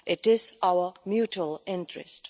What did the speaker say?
It is in our mutual interest.